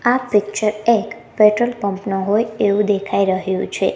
આ પિક્ચર એક petrol pump નુ હોઈ એવુ દેખાય રહ્યુ છે.